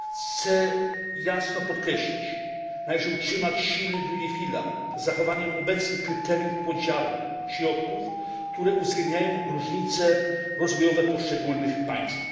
Chcę jasno podkreślić należy utrzymać silny drugi filar z zachowaniem obecnych kryteriów podziału środków, które uwzględniają różnice rozwojowe poszczególnych państw.